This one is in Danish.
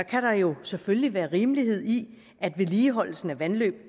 kan der jo selvfølgelig være rimelighed i at vedligeholdelsen af vandløb